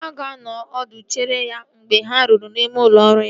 Ha ga-anọrọ ọdụ chere ya mgbe ha ruru n'ime ụlọ ọrụ ya